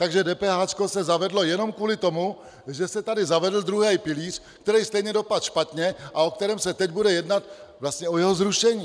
Takže DPH se zavedlo jenom kvůli tomu, že se tady zavedl druhý pilíř, který stejně dopadl špatně a o kterém se teď bude jednat, vlastně o jeho zrušení.